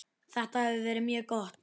Þetta hefur verið mjög gott.